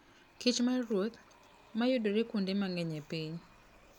Kich maruoth, ma yudore kuonde mang'eny e piny.